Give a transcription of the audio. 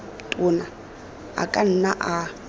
tona a ka nna a